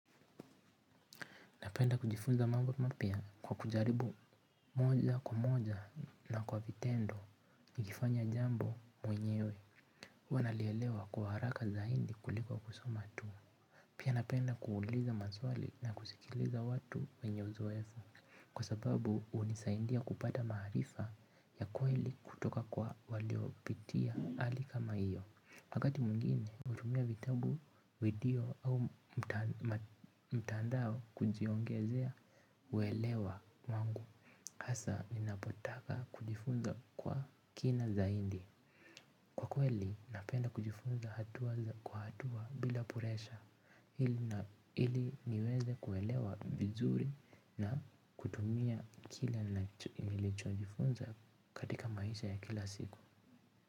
Napenda kujifunza mambo mapya kwa kujaribu moja kwa moja na kwa vitendo nikifanya jambo mwenyewe huwanalielewa kwa haraka zaidi kuliko kusoma tu. Pia napenda kuuliza maswali na kusikiliza watu wenye uzoefu kwa sababu hunisaindia kupata maarifa ya kweli kutoka kwa waliopitia hali kama hiyo. Wakati mwingine hutumia vitabu, video au mtandao kujiongezea uwelewa wangu hasa ninapotaka kujifunza kwa kina zaidi kwa kweli napenda kujifunza hatua kwa hatua bila presha ili niweze kuelewa vizuri na kutumia kile nilichojifunza katika maisha ya kila siku.